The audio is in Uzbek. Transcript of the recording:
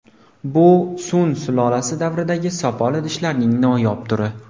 Bu Sun sulolasi davridagi sopol idishlarning noyob turi.